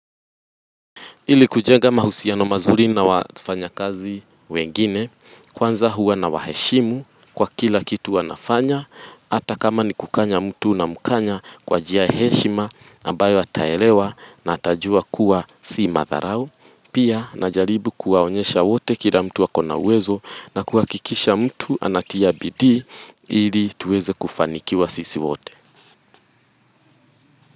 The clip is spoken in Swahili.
Ili kujenga mahusiano mazuri na wafanya kazi wengine, kwanza huwa na waheshimu kwa kila kitu wanafanya, hata kama ni kukanya mtu unamkanya kwa njiaya heshima ambayo ataelewa na atajua kuwa si madharau. Pia na jaribu kuwaonyesha wote kila mtu akona uwezo na kuhakikisha mtu anatia bidii ili tuweze kufanikiwa sisi wote.